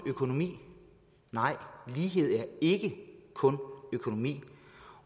økonomi nej lighed er ikke kun økonomi